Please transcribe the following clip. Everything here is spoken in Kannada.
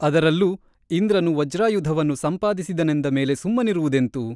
ಅದರಲ್ಲೂ ಇಂದ್ರನು ವಜ್ರಾಯುಧವನ್ನು ಸಂಪಾದಿಸಿದನೆಂದ ಮೇಲೆ ಸುಮ್ಮನಿರುವುದೆಂತು ?